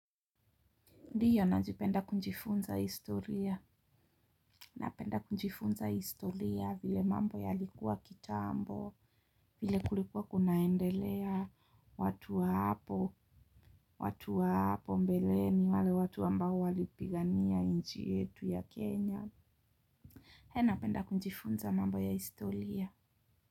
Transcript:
Ndiyo najipenda kunjifunza historia, na penda kujifunza historia vile mambo yalikuwa kitambo, vile kulikuwa kunaendelea watu wa hapo, watu wa hapo mbeleni, wale watu ambao walipigania nchi yetu ya Kenya. He napenda kunjifunza mambo ya historia.